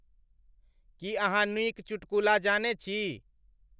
की अहाँनीक चुटकुला जाने छी